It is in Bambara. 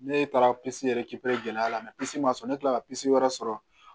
Ne taara yɛrɛ gɛlɛya la ma sɔn ne kilala ka wɛrɛ sɔrɔ